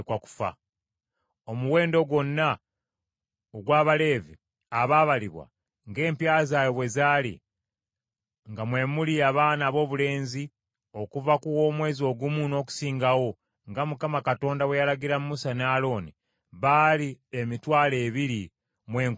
Omuwendo gwonna ogw’Abaleevi abaabalibwa ng’empya zaabwe bwe zaali, nga mwe muli abaana aboobulenzi okuva ku w’omwezi ogumu n’okusingawo, nga Mukama Katonda bwe yalagira Musa ne Alooni, baali emitwalo ebiri mu enkumi bbiri (22,000).